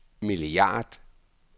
milliard